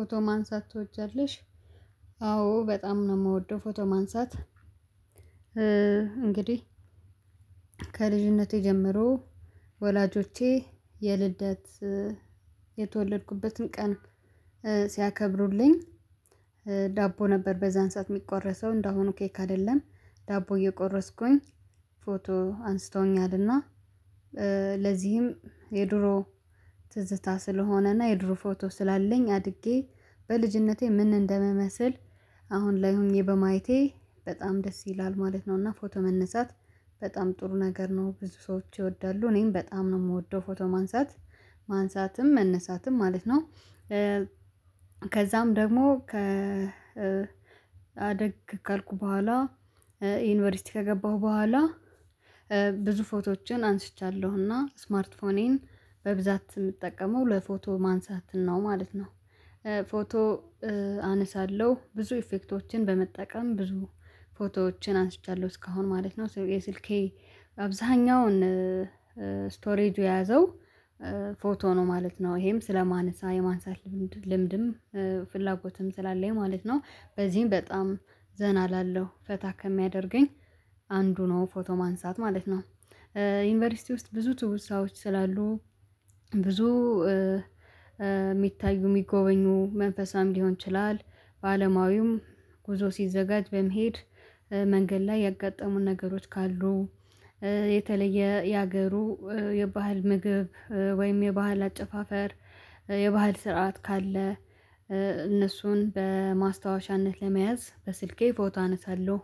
ፎቶ ማንሳት ትወጃለሽ? አዎ በጣም ነው የምወደው ፎቶ ማንሳት። እንግዲህ ከልጅነቴ ጀምሮ ወላጆቼ የልደት የተወለድኩበትን ቀን ሲያከብሩልኝ ዳቦ ነበር በዛን ሰዓት የሚቆረሰው እንደአሁኑ ኬክ አይደለም። ዳቦ እየቆረስኩኝ ፎቶ አንስተውኛል። እና ለዚህም የድሮ ትዝታ ስለሆነና የድሮ ፎቶ ስላለኝ አድጌ በልጅነቴ ምን እንደምመስል አሁን ላይ ሆኜ በማየቴ በጣም ደስ ይላል ማለት ነው። እና ፎቶ መነሳት በጣም ጥሩ ነገር ነው። ብዙ ሰዎች ይወዳሉ። እኔም በጣም ነው የምወደው ፎቶ ማንሳት። ማንሳትም መነሳትም ማለት ነው። ከዛም ደግሞ ከ አደግ ካልኩ በኋላ ዩኒቨርሲቲ ከገባሁ በኋላ ብዙ ፎቶዎችን አንስቻለሁ። እና ስማርት ፎኔን በብዛት የምጠቀመው ለፎቶ ማንሳት ነው ማለት ነው። ፎቶ አነሳለሁ። ብዙ ኢፌክቶችን በመጠቀም ብዙ ፎቶዎችን አንስቻለሁ እስካሁን ማለት ነው። የስልኬ አብዛኛውን ስቶሬጁ የያዘው ፎቶ ነው ማለት ነው። ይሄም ስለማነሳ የማንሳት ልምድም ፍላጎትም ስላለኝ ማለት ነው። በዚህም በጣም ዘና እላለሁ። ፈታ ከሚያደርገኝ አንዱ ነው ፎቶ ማንሳት ማለት ነው። ዩኒቨርሲቲ ውስጥ ብዙ ትውስታዎች ስላሉ ብዙ የሚታዩ የሚጎበኙ መንፈሳዊም ሊሆን ይችላል በአለማዊም ጉዞ ሲዘጋጅ በመሄድ መንገድ ላይ ያጋጠሙን ነገሮች ካሉ የተለየ የሀገሩ የባህል ምግብ ወይም የባህል አጨፋፈር የባህል ስርዓት ካለ፤ እነሱን በማስታወሻነት ለመያዝ በስልኬ ፎቶ አነሳለሁ።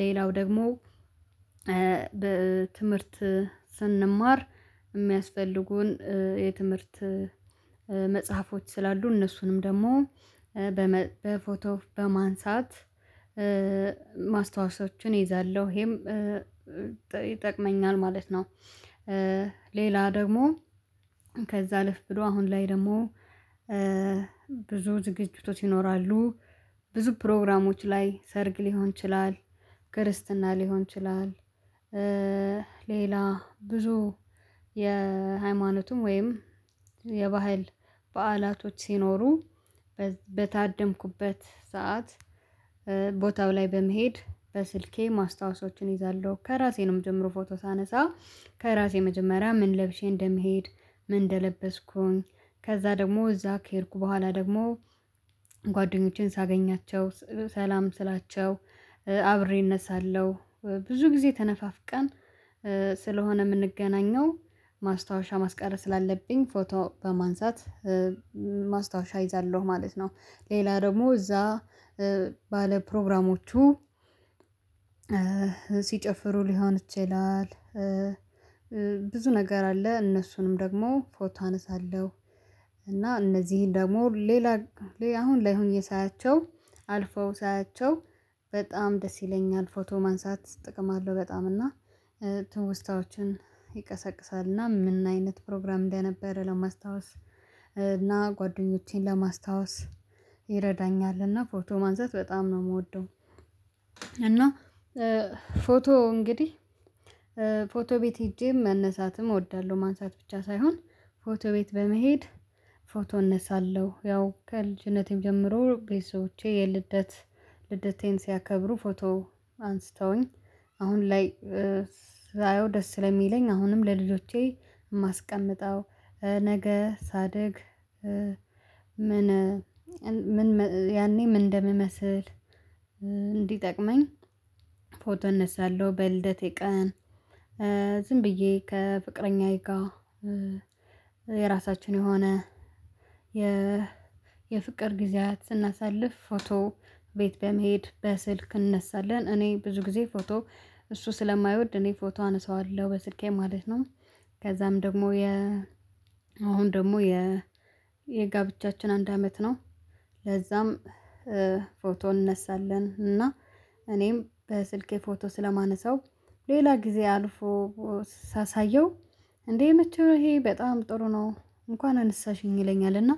ሌላው ደግሞ በትምህርት ስንማር የሚያስፈልጉን የትምህርት መጽሐፎች ስላሉ እነሱንም ደግሞ በፎቶ በማንሳት ማስታወሻዎችን እይዛለሁ። ይሄም ይጠቅመኛል ማለት ነው። ሌላ ደግሞ ከዛ አለፍ ብሎ አሁን ላይ ደግሞ ብዙ ዝግጅቶት ይኖራሉ። ብዙ ፕሮግራሞች ላይ ሰርግ ሊሆን ይችላል፣ ክርስትና ሊሆን ይችላል፣ ሌላ ብዙ የሃይማኖቱም ወይም የባህል በዓላቶች ሲኖሩ በታደምኩበት ሰዓት ቦታው ላይ በመሄድ በስልኬ ማስታወሶችን እይዛለሁ። ከራሴ ነው የምጀምረው ፎቶ ሳነሳ። ከራሴ መጀመሪያ ምን ለብሼ እንደምሄድ ምን እንደለበስኩኝ ከዛ ደግሞ እዛ ከሄድኩ በኋላ ደግሞ ጓደኞቼን ሳገኛቸው ሰላም ስላቸው አብሬን እነሳለሁ። ብዙ ጊዜ ተነፋፍቀን ስለሆነ የምንገናኘው ማስታወሻ ማስቀረት ስላለብኝ ፎቶ በማንሳት ማስታወሻ እይዛለሁ ማለት ነው። ሌላ ደግሞ እዛ ባለ ፕሮግራሞቹ ሲጨፍሩ ሊሆን ይችላል ብዙ ነገር አለ። እነሱንም ደግሞ ፎቶ አነሳለሁ። እና እነዚህን ደግሞ ሌላ ሌላ አሁን ላይ ሆኜ ሳያቸው አልፈው ሳያቸው በጣም ደስ ይለኛል። ፎቶ ማንሳት ጥቅም አለው በጣም። እና ትውስታዎችን ይቀሰቅሳል። እና ምን አይነት ፕሮግራም እንደነበረ ለማስታወስ እና ጓደኞቼን ለማስታወስ ይረዳኛል። እና ፎቶ ማንሳት በጣም ነው የምወደው። እና ፎቶ እንግዲህ ፎቶ ቤት ሄጄ መነሳትም እወዳለሁ። ማንሳት ብቻ ሳይሆን ፎቶ ቤት በመሄድ ፎቶ እነሳለሁ። ያው ከልጅነቴም ጀምሮ ቤተሰቦቼ የልደት ልደቴን ሲያከብሩ ፎቶ አንስተውኝ አሁን ላይ ሳየው ደስ ስለሚለኝ አሁንም ለልጆቼ የማስቀምጠው ነገ ሳደግ ምን ያኔ ምን እንደምመስል እንዲጠቅመኝ ፎቶ እነሳለሁ በልደቴ ቀን ዝም ብዬ ከፍቅረኛዬ ጋር የራሳችን የሆነ የ የፍቅር ጊዜያት ስናሳልፍ ፎቶ ቤት በመሄድ በስልክ እንነሳለን። እኔ ብዙ ጊዜ ፎቶ እሱ ስለማይወድ እኔ ፎቶ አነሳዋለሁ በስልኬ ማለት ነው። ከዛም ደግሞ አሁን ደግሞ የጋብቻችን አንድ አመት ነው። ለዛም ፎቶ እንነሳለን። እና እኔም በስልኬ ፎቶ ስለማነሳው ሌላ ጊዜ አልፎ ሳሳየው እንዴ የመቼው ይሄ በጣም ጥሩ ነው። እንኳን አነሳሽኝ ይለኛል። እና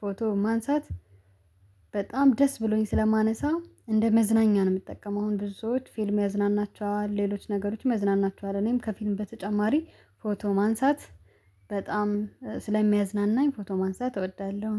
ፎቶ ማንሳት በጣም ደስ ብሎኝ ስለማነሳ እንደ መዝናኛ ነው የምጠቀመው። አሁን ብዙዎች ፊልም ያዝናናቸዋል፤ ሌሎች ነገሮችም ያዝናናቸዋል። እኔም ከፊልም በተጨማሪ ፎቶ ማንሳት በጣም ስለሚያዝናናኝ ፎቶ ማንሳት እወዳለሁ።